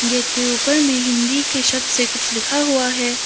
Gate के ऊपर में हिंदी के शब्द से कुछ लिखा हुआ है।